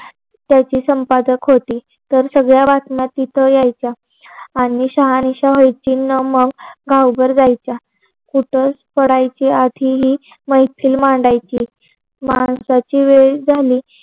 त्याची संपादक होती तर सगळ्या बातम्या तिथे यायच्या आणि शहानिशा व्हायची तर मग गावभर जायच्या कुठे पडायच्या आधी ही मैफिल मांडायची माणसाची वेळ झाली